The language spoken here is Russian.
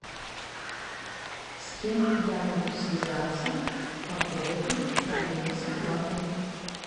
с кем я могу связаться по поводу проблемы с оплатой